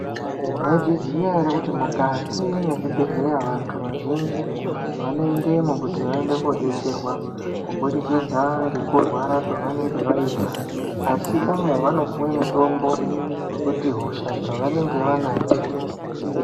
Maizviziva here kuti mukati mezvibhedhlera vantu vazhinji vanoendamo kuti vaone kudetserwa kuburikidza ngekurwara kwavanenge vaita asi kumwe vanopuwa mutombo wekuti hosha dzavanenge vanadzo dzipere.